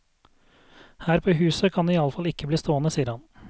Her på huset kan den i alle fall ikke bli stående, sier han.